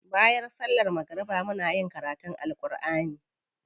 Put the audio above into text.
Bayan sallar magariba muna karutun Alkur'ani.